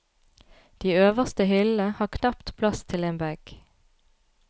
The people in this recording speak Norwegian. De øverste hyllene har knapt plass til en bag.